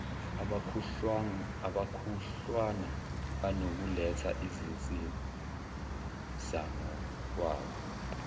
abakhudlwana banokuletha izinsizangokwabo